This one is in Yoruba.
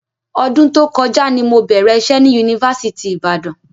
Ọdún tó kọjá ni mo bẹ̀rẹ̀ iṣẹ́ ni Yunifásitì Ìbàdàn.